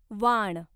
वाण